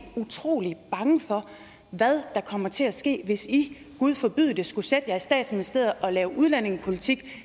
utrolig bange for hvad der kommer til at ske hvis i gud forbyde det skulle sætte jer i statsministeriet og lave udlændingepolitik